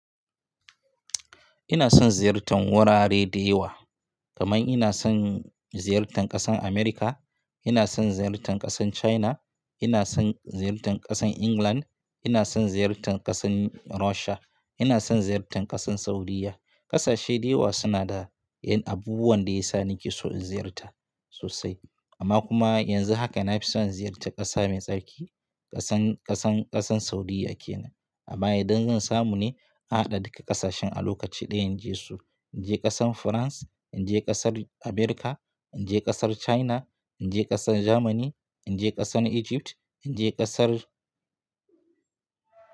Ina son ziyartan wurare da yawa. Kamar ina son ziyartan ƙasar Amurka, ina son ziyartan ƙasar China, ina son ziyartan ƙasar England, ina son ziyartan ƙasar Russia, ina son ziyartan ƙasar Saudiya. Ƙasashe dayawa suna da abubuwan da ya sa nake so in ziyarta sosai amma kuma yanzu haka na fi son ziyarta ƙasa mai tsarki ƙasan, ƙasan, ƙasar Saudiya ke nan. Amma idan zan samu ne a haɗa duka ƙasashen a lokaci ɗaya in je su. In je ƙasar France, in je ƙasar Amurka, in je ƙasar China, in je ƙasar Germany, in je ƙasar Egypt, in je ƙasar.